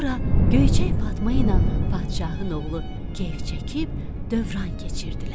Sonra Göyçək Fatma ilə padşahın oğlu kef çəkib dövran keçirdilər.